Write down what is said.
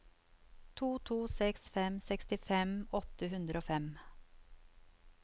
to to seks fem sekstifem åtte hundre og fem